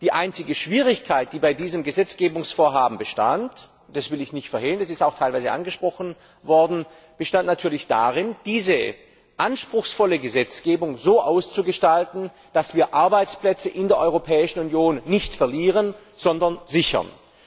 Die einzige Schwierigkeit, die bei diesem Gesetzgebungsvorhaben bestand und das will ich nicht verhehlen, es ist auch teilweise angesprochen worden war natürlich die, diese anspruchsvolle Gesetzgebung so auszugestalten, dass wir Arbeitsplätze in der Europäischen Union nicht verlieren, sondern sichern.